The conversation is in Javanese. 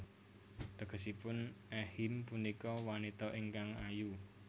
Tegesipun Ehime punika wanita ingkang ayu